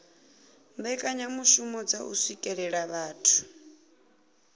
mbekanyamishumo dza u swikelela vhathu